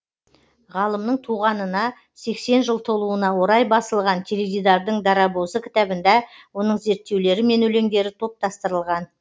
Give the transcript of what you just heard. ғалымның туғанына сексен жыл толуына орай басылған теледидардың дарабозы кітабында оның зерттеулері мен өлеңдері топтастырылған